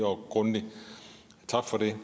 og grundig tak for det